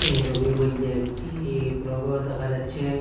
এই সবির মইধ্যে একটি বড় ঘর দেখা যাচ্ছে।